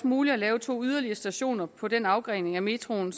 muligt at lave to yderligere stationer på den afgrening af metroen